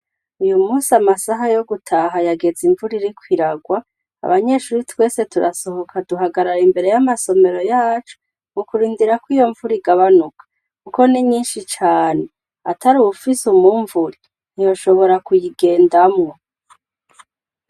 Uyu musi amasaha yo gutaha yageze imvura irikwiragwa. Abanyeshuri twese turasohoka duhagarara imbere y'amasomero yacu, mu kurindira ko iyo mvura igabanuka kuko ni nyinshi cyane. Atari uwufise umwumvuri ntiyoshobora kuyigendamwo.